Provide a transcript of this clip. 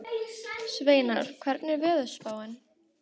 Sveinar, hvernig er veðurspáin?